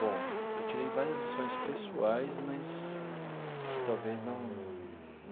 Bom, eu tirei várias lições pessoais, mas que talvez não.